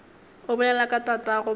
o bolela ka tatago pelo